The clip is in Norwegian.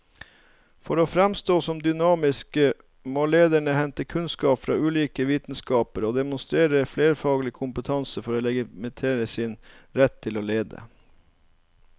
For å framstå som dynamiske må lederne hente kunnskap fra ulike vitenskaper og demonstrere flerfaglig kompetanse for å legitimere sin rett til å lede.